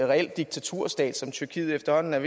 reel diktaturstat som tyrkiet efterhånden er